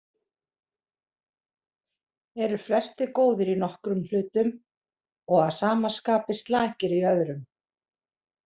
Eru flestir góðir í nokkrum hlutum og að sama skapi slakir í öðrum.